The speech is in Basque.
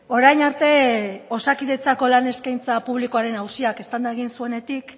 orain arte osakidetzako lan eskaintza publikoaren auziak eztanda egin zuenetik